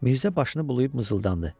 Mirzə başını bulayıb mızıldandı.